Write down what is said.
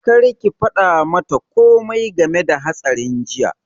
Kar ki faɗa mata komai game da hatsarin jiya!